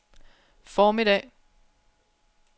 formiddag